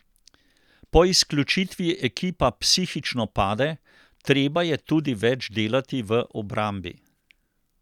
Po izključitvi ekipa psihično pade, treba je tudi več delati v obrambi.